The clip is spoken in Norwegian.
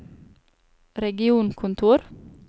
regionkontor